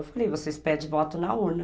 Eu falei, vocês pedem voto na urna.